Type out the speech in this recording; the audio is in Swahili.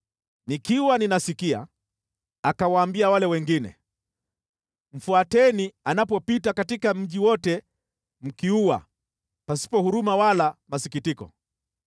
Nikiwa ninasikia, akawaambia wale wengine, “Mfuateni anapopita katika mji wote mkiua, pasipo huruma wala masikitiko.